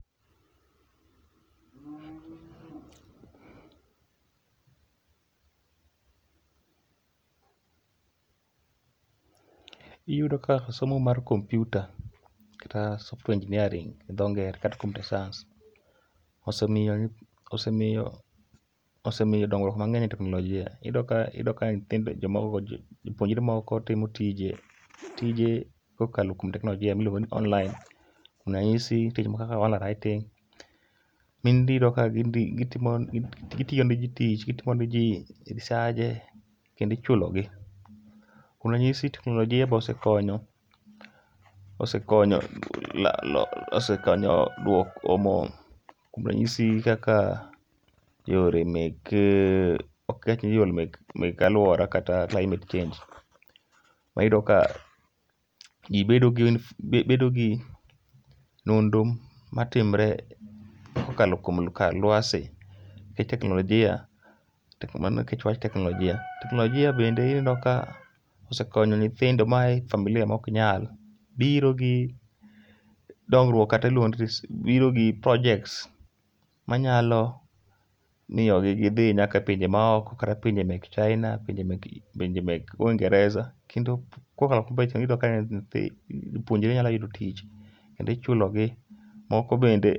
Iyudo ka somo mar kompyuta kata Software Engineering gi dho ngere kata Computer Science, osemiyo nyith, osemiyo dongruok mang'eny e teknolojia. Iyudo ka, iyudo ka nyithind jomoko go jopuonjre moko go tije kokalo kuom teknolojia miluongo ni online. Wanahisi, nitie gik moko kaka online writing, mi in idhi iyudo ka gidhi gitiyo ne ji gitimo ne ji risaje kendi chulo gi. Kuom ranyisi teknolojia bo sekonyo, osekonyo la lo, osekonyo duoko mo kuom rayisi kaka yore mek, ok ke ni yore mek alwora kata climate change. Wayudo ka ji bedo gi, bedo gi nonro matimre kokalo kuom ka lwase. E teknolojia, mano e wach teknolojia. teknolojia bende ineno ka osekonyo nyithindo ma aye familia ma ok nyal. Biro gi dongruok kata iluongo ni biro gi projects ma nyalo miyogi gidhi nyaka e pinje maoko, kata pinje mek China, pinje mek Uingereza. Kendo kokalo kuom kobreach iyudo ka jopuonjre nyalo yudo tich, kendi chulogi. Moko bende.